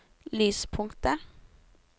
lyspunktet